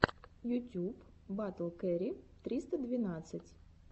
ютюб батл кэрри триста двенадцать